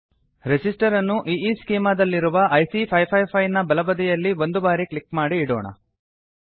resistor ಅನ್ನು ಈಸ್ಚೆಮಾ ದಲ್ಲಿರುವ ಐಸಿ 555 ನ ಬಲಬದಿಯಲ್ಲಿ ಒಂದು ಬಾರಿ ಕ್ಲಿಕ್ ಮಾಡಿ ಇಡೋಣ